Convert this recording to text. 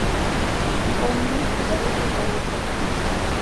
хоми дороже золота